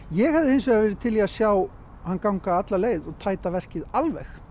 ég hefði hins vegar verið til í að sjá hann ganga alla leið og tæta verkið alveg